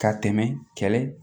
Ka tɛmɛ kɛlɛ